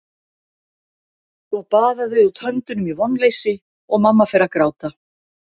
Svo baða þau út höndunum í vonleysi og mamma fer að gráta.